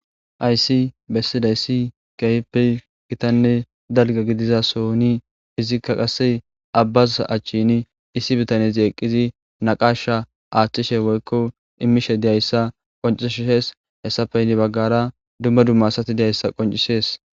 aysi bessidayssi kehpe gitanne dalga gidizasoni izikka qasse abbaz achchin issi bitaniyazi eqqizi naqasha aaththishe woykko imishe deyayssa qoncishees hessafeyni baggara dumma dumma asati deyayssa qoncisees